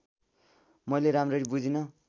मैले राम्ररी बुझिन